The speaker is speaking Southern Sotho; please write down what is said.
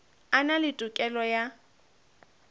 a na le tokelo ya